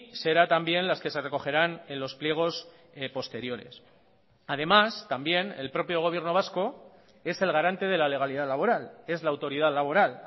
será también las que se recogerán en los pliegos posteriores además también el propio gobierno vasco es el garante de la legalidad laboral es la autoridad laboral